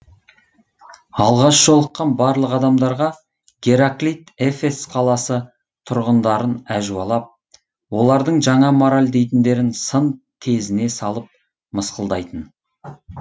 алғаш жолыққан барлық адамдарға гераклит эфес қаласы тұрғындарын әжуалап олардың жаңа мораль дейтіндерін сын тезіне салып мысқылдайтын